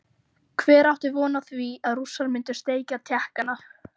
Hver átti von á því að Rússar myndu steikja Tékkana?